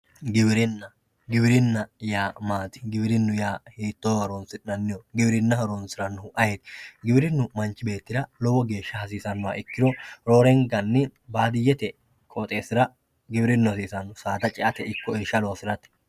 Giwirinna, giwirinna yaa maati, giwirinu hiittonni horonsi'nanniho, giwirinna horonsiranohu ayeeoti ,giwirinu manchi beettira lowo geeshsha hasiisanoha ikkiro roorenkanni baadiyyete qooxxeesira giwirinu hasiisano saada ceate ikko irsha loosirate.